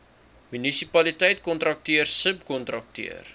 munisipaliteit kontrakteur subkontrakteur